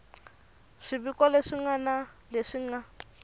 swiviko leswi ngana leswi nga